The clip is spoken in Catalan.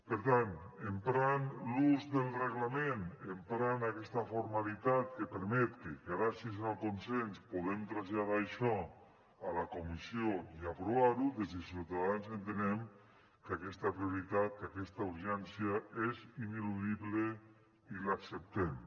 per tant emprant l’ús del reglament emprant aquesta formalitat que permet que gràcies al consens podrem traslladar això a la comissió i a aprovar ho des de ciutadans entenem que aquesta prioritat que aquesta urgència és ineludible i l’acceptem